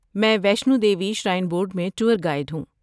میں Vaishno Devi shrine board میں tour guide ہوں۔